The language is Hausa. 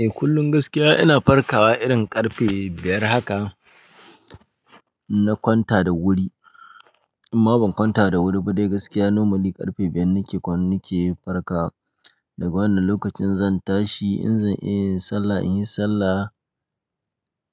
Eh kullum gaskiya ina farkawa irin karfe biyar haka na kwanta da wuri. Imma ban kwanta da wuri ba dai gaskiya normally karfe biyar nake nake farkawa. Daga wannan lokacin zan tashi in zan iya in sallah in yi sallah,